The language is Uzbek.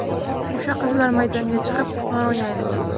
O‘sha qizlar maydonga chiqib, qimor o‘ynaydimi?